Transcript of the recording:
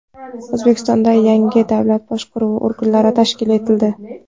O‘zbekistonda yangi davlat boshqaruvi organlari tashkil etildi.